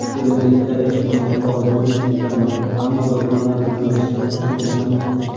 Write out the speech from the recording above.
Kelajakda, ehtimol, faoliyatni tiklarman, ammo do‘konlar bilan do‘stlarim shug‘ullanmoqda.